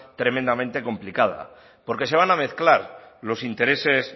tremendamente complicada porque se van a mezclar los intereses